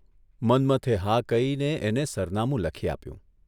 મન્મથે હા કહીને એને સરનામું લખી આપ્યું.